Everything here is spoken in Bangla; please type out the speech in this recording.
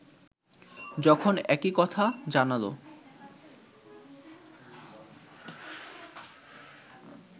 যখন একই কথা জানাল